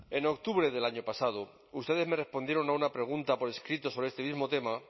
en octubre del año pasado ustedes me respondieron a una pregunta por escrito sobre este mismo tema